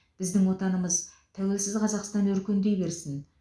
біздің отанымыз тәуелсіз қазақстан өркендей берсін